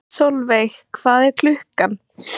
Solveig, hvað er klukkan?